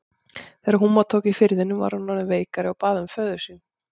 Þegar húma tók í firðinum var hún orðin veikari og bað um föður sinn.